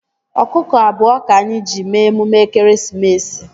Ọkụkọ abụọ ka anyị ji mee emume ekeresimesi